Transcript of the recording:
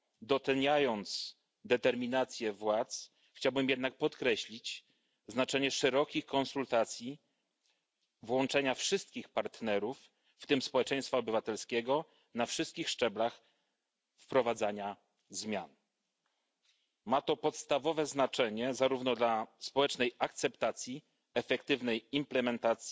Doceniając determinację władz, chciałbym jednak podkreślić znaczenie szerokich konsultacji, włączenia wszystkich partnerów w tym społeczeństwa obywatelskiego na wszystkich szczeblach wprowadzania zmian. Ma to podstawowe znaczenie zarówno dla społecznej akceptacji, efektywnego wdrażania,